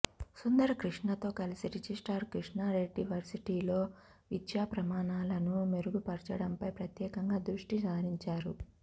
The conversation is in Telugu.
సుందర కృష్ణతో కలిసి రిజిస్ట్రార్ కృష్ణారెడ్డి వర్సిటీలో విద్యాప్రమాణాలను మెరుగుపర్చడంపై ప్రత్యేకంగా దృష్టి సారించారు